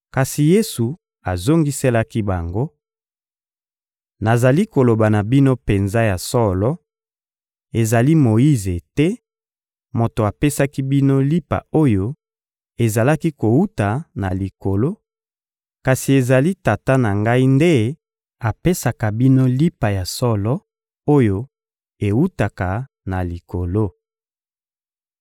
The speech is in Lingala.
Kasi Yesu azongiselaki bango: — Nazali koloba na bino penza ya solo: ezali Moyize te moto apesaki bino lipa oyo ezalaki kowuta na Likolo, kasi ezali Tata na Ngai nde apesaka bino lipa ya solo oyo ewutaka na Likolo.